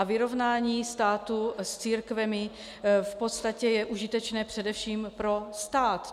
A vyrovnání státu s církvemi v podstatě je užitečné především pro stát.